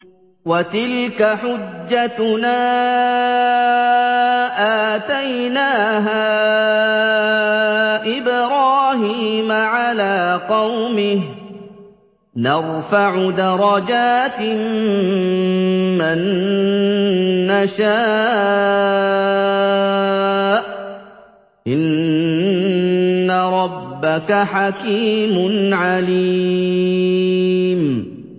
وَتِلْكَ حُجَّتُنَا آتَيْنَاهَا إِبْرَاهِيمَ عَلَىٰ قَوْمِهِ ۚ نَرْفَعُ دَرَجَاتٍ مَّن نَّشَاءُ ۗ إِنَّ رَبَّكَ حَكِيمٌ عَلِيمٌ